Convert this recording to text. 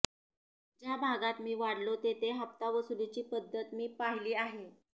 ज्या भागात मी वाढलो तेथे हफ्ता वसूलीची पध्दत मी पाहिली आहे